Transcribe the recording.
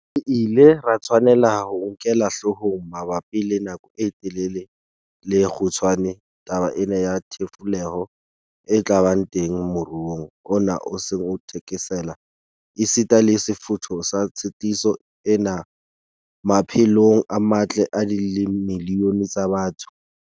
Re ile ra tshwanela ho e nkela hloohong mabapi le nako e telele le e kgutshwane taba ena ya thefuleho e tla ba teng moruong ona o seng o thekesela, esita le sefutho sa tshitiso ena maphe long a matle a dimilione tsa batho.